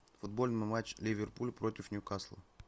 футбольный матч ливерпуль против ньюкасла